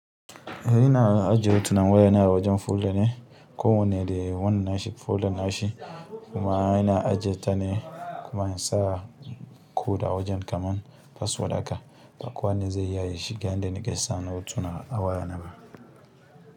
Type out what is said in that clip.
Eh ina ajiye hotunan wayana a wajen folder ne. Ko wane da wannan na shi folder nashi kuma ina ajiyeta ne kuma in sa code a wajen kamar password haka. Ba kowa ne zai iya shiga in da nake sa na hotuna a wayanaba.